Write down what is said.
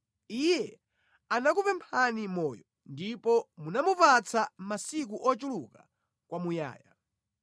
Iye anakupemphani moyo, ndipo munamupatsa masiku ochuluka kwamuyaya.